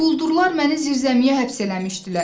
Quldurlar məni zirzəmiyə həbs eləmişdilər.